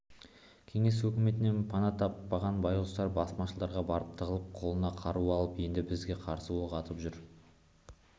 кеңес өкіметінен пана таппаған байғұстар басмашыларға барып тығылып қолына қару алып енді бізге қарсы оқ атып жүр